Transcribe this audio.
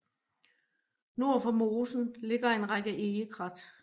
Nord for mosen ligger en række egekrat